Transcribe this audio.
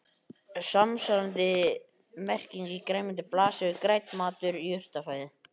Samsvarandi merking í grænmeti blasir við: grænn matur, jurtafæði.